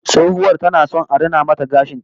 Tsohuwar tana son a rina mata gashin ta